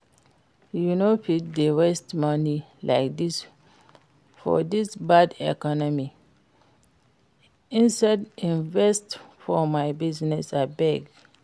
You no fit dey waste money like dis for dis bad economy, instead invest for my business abeg